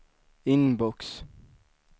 inbox